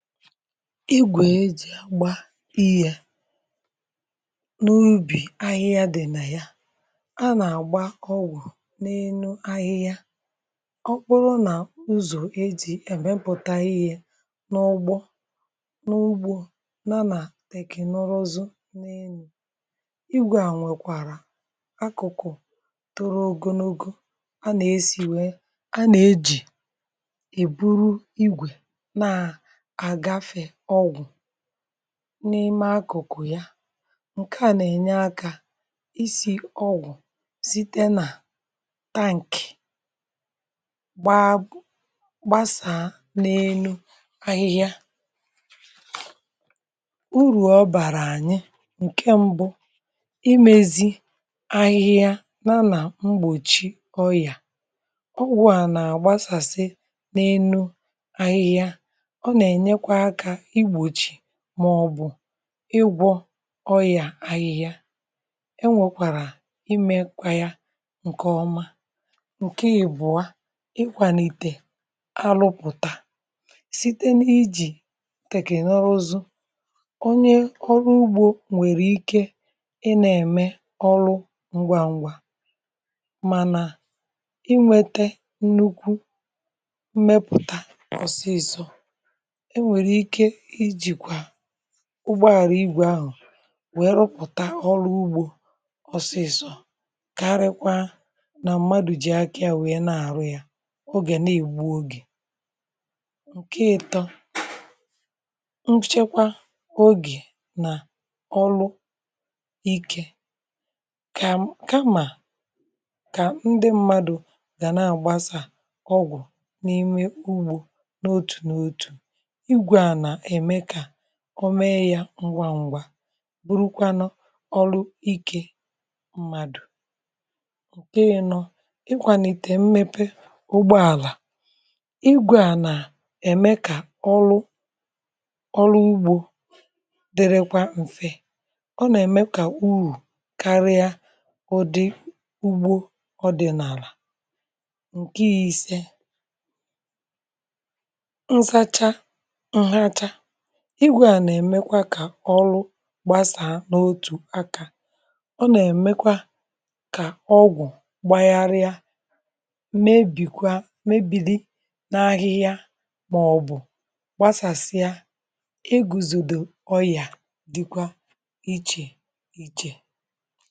igwè e jì gba ihe n’ubì ahịhịa, di̇ nà ya, a nà-àgba ọgwụ̀ n’enu ahịhịa. ọ kpụrụ nà uzọ̀ ejì emepụ̀tà ihė n’ụgbọ̇, n’ugbȯ, nà teknụzụzụ n’enu̇ igwė à. nwèkwàrà akụ̀kụ̀ tụrụ ògìnugȯ, a nà-esi wee, a nà-ejì èburu igwè n’ime akụ̀kụ̀ ya. ǹkè a nà-ènye akȧ isi̇ ọgwụ̀ site nà tankị̀, gbàa gbasàà n’enu ahịhịa. urù ọ bàrà ànyị, ǹke mbụ, imezi ahịhịa n’ana mgbòchi ọyà. ọgwụ̀ a nà-àgbasàsị n’enu ahịhịa, mọ̀bụ̀ ịgwọ ọyà ahịhịa. e nwekwàrà imekwa ya ǹkè ọma. ǹke yì bụ̀a, ịkwànìtè alụpụ̀tà site n’ijì tèkènọzụ uzù. onye ọrụ ugbȯ nwèrè ike ị nȧ-ème ọrụ ngwa ngwa, mànà ị nwete nnukwu mmepùta ọ̀sịsọ. um ụgbọ̀àrà igwè ahụ̀ wèe rụpụ̀ta ọrụ ugbȯ ọsịsọ, kà àrịkwa nà mmadụ̀ jì akị̇à wèe na-àrụ yȧ, ogè na-ègbu ogè, ǹke ịtọ̇ nchekwa ogè nà ọlụ ikė. kà kamà kà ndị mmadụ̀ gà na-àgbasà ọgwụ̀ n’ime ugbȯ n’otù nà otù, ọ mee yȧ ngwa ngwa, bụrụkwa nọ ọrụ ikė mmadụ̀. ǹke yȧ nọ, ịkwànìtè mmepe ụgbọàlà igwė à, nà ème kà ọlụ ọlụ ugbȯ dịrịkwa m̀fe. ọ nà-ème kà uru karịa ụdị ugbo ọdị̀nàlà. ǹke yȧ, ise igwė à, nà-èmekwa kà ọrụ gbasà n’otù akȧ. ọ nà-èmekwa kà ọgwụ̀ gbàyịrịa, mmebìkwa mmebili n’ahịhịa, màọbụ̀ gbasàsịa egùzòdò ọyà, dịkwa ichè ichè